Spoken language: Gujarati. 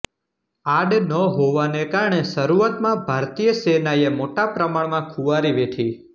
આડ ન હોવાને કારણે શરૂઆતમાં ભારતીય સેનાએ મોટાપ્રમાણમાં ખુવારી વેઠી